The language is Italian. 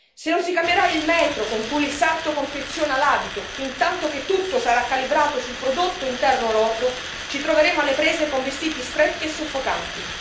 Se non si cambierà il metro con cui il sarto confeziona l'abito, fintanto che tutto sarà calibrato sul prodotto interno lordo, ci troveremo alle prese con vestiti stretti e soffocanti.